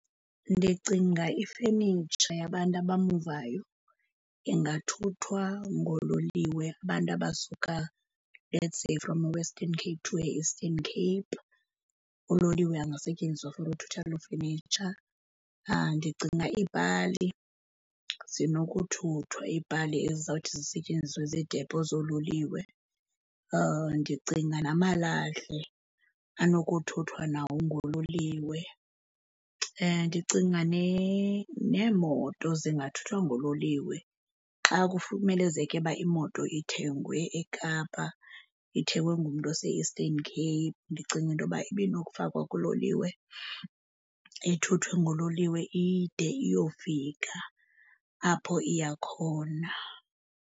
Ndicinga ifenitsha yabantu abamuvayo ingathuthwa ngololiwe. Abantu abasuka let's say from Western Cape to e-Eastern Cape, uloliwe angasetyenziswa for ukuthutha loo fenitsha. Ndicinga iipali, zinokuthuthwa iipali ezizawuthi zisetyenziswe ziidepo zoololiwe. Ndicinga namalahle, anokuthuthwa nawo ngololiwe. Ndicinga neemoto zingathuthwa ngololiwe. Xa kumelezeke uba imoto ithengwe eKapa ithengwe ngumntu ose-Eastern Cape, ndicinga into yoba ibinokufakwa kuloliwe, ithuthwe ngololiwe ide iyofika apho iya khona.